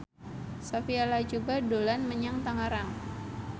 Sophia Latjuba dolan menyang Tangerang